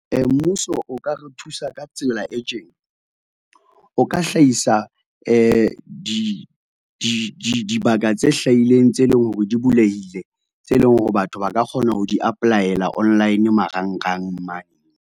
Mmuso o ka re thusa ka tsela e tjena, o ka hlahisa di, di, di dibaka tse hlahileng tse leng hore di bulehile, tse leng hore batho ba ka kgona ho di apply-ela online, marangrang mane.